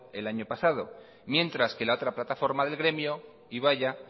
el año pasado mientras que la otra plataforma del gremio ibaia